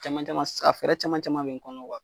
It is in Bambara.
Cɛman caman, sisan a fɛɛrɛ caman caman be n kɔnɔ